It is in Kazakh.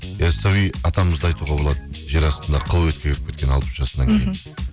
яссауй атамызды айтуға болады жер астында қыл алпыс жасынан кейін